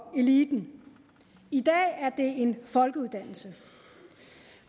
eliten i dag er det en folkeuddannelse